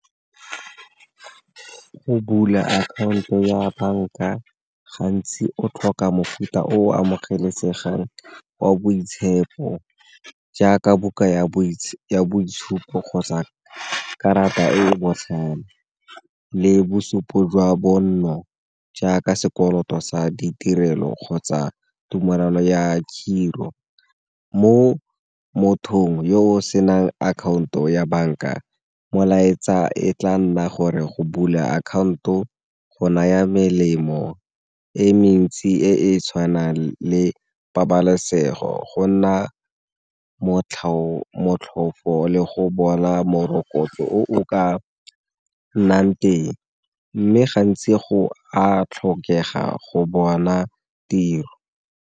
Go bula akhaonto ya banka gantsi o tlhoka mofuta o amogelesegang wa boitshepo jaaka buka ya boitshupo kgotsa karata e e botlhale le bosupo jwa bonno jaaka sekoloto sa ditirelo kgotsa thumolano ya khiro. Mo mothong yo o senang akhaonto ya banka molaetsa e tla nna gore go bula akhaonto go naya melemo e mentsi e e tshwanang le pabalesego go nna motlhofo le go bona morokotso o ka nnang teng, mme gantsi go a tlhokega go bona tiro.